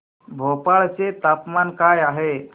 भोपाळ चे तापमान काय आहे